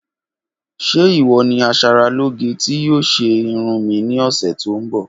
Ṣe iwọ ni aṣaralóge ti yoo ṣe irun mi ni ọsẹ to nbọ?